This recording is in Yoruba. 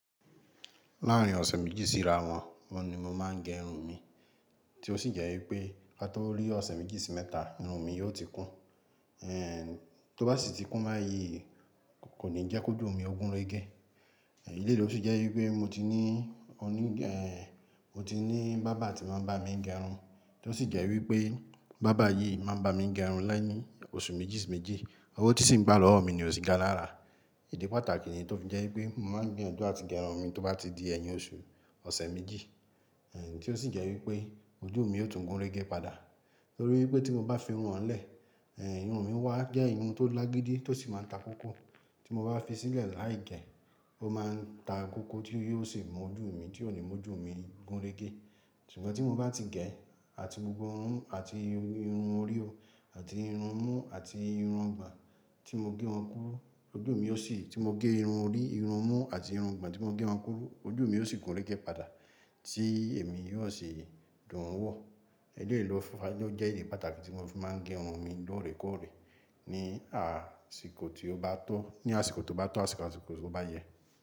Láàárín ọ̀sẹ̀ méjì sí ìràwọ̀n, ọ́un ni mo máa ń gé irun mi, tí ó sì jẹ́ wípé ká tó rí ọ̀sẹ̀ méjì sí mẹ́ta, irun mi yóò ti kún. Eh, tó bá sì ti kún báyìí kò ní jẹ́ kó jù mí o gunrégé. Ẹ̀lèyìí ló sì jẹ́ wípé mo ti ní oní-- eh, mo ti ní bàrber tí máa ń bá mi gé irun, tí ó sì jẹ́ wípé barber yìí máa ń bá mi gé irun láìní oṣù méjì sí méjì, owó tí sì ń gbà lọ́wọ́ mi ni ò sì ga lára. Idi pàtàkì ni tó fi jẹ́ wípé mo máa ń gbiyanju àti gé irun mi tó bá ti di ẹyin oṣù ọ̀sẹ̀ méjì, eh tí ó sì jẹ́ wípé ojú mi ó tún gúnrégé padà. Nítorí wípé tí mo bá fi irun oun lẹ́, eh irun mi wá jẹ́ irun tó lágídí tó sì máa ń ta kókó. Tí mo bá fi sílẹ̀ láì gẹ́, ó máa ń ta kókó tí yóò sì mú ojú mi, tí ò ní mú ojú mi gúnrégé. Ṣùgbọ́n tí mo bá ti gẹ̀ àti gbogbo irun àti irun orí o àti irun mú àti irun ọgbon tí mo gé wọn kúrú, ojú mi yóò sì-- tí mo gé irun orí, irun mú àti irun ọgbon tí mo gé wọn kúrú, ojú mi yóò sì gúnrégé padà tí èmi yóò sì dùn wọ̀. Idi eyìí ló fi fa-- ló jẹ́ idi pàtàkì tí mọ́ fi máa ń gé irun mi lóòrèkóòrè ní àsìkò tí ó bá tó, ní àsìkò tó bá tó, àsìkò àsìkò tó bá yẹ.